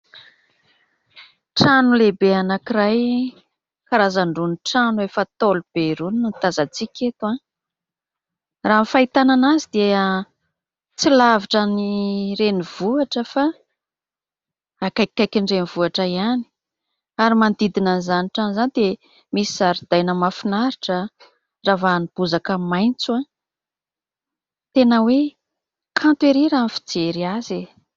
Trano lehibe anankiray karazan'irony trano efa ntaolo be irony no tazantsika eto. Raha ny fahitana an'azy dia tsy lavitra ny renivohitra fa akaikikaikin'ny renivohitra ihany. Ary manodidina an'izany trano izany dia misy zaridaina mahafinaritra, ravahan'ny bozaka maitso. Tena hoe kanto ery raha ny fijery azy.